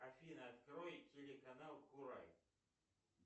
афина открой телеканал курай